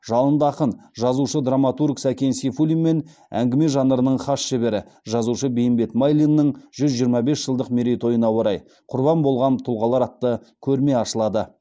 жалынды ақын жазушы драматург сәкен сейфуллин мен әңгіме жанрының хас шебері жазушы бейімбет майлиннің жүз жиырма бес жылдық мерейтойына орай құрбан болған тұлғалар атты көрме ашылады